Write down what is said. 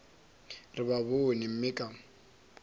re ba bone mme ka